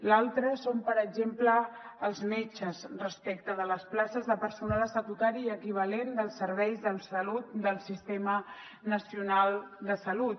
l’altre són per exemple els metges respecte de les places de personal estatutari i equivalent dels serveis de salut del sistema nacional de salut